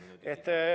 Kolm minutit lisaaega.